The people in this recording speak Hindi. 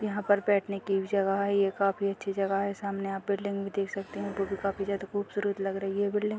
यहाँ पर बैठने की भी जगह है। ये काफी अच्छी जगह है। सामने यहाँ बिल्डिंग भी देख सकते हैं जो कि काफी ज्यादा ख़ूबसूरत लग रही है बिल्डिंग ।